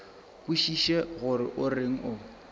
kwešiše gore o reng o